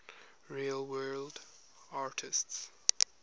real world artists